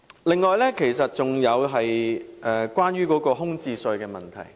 此外，是有關空置稅的問題。